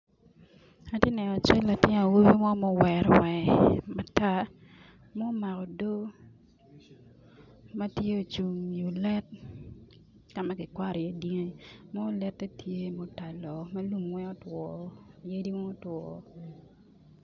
Atye neno cal latin awobi mo ma owero wange matar, ma omako odo, matye ocungo i o let kama ki kwato i ye dyangi, nongo lette tye ma otalo ma lum weng otwo yadi weng otwo.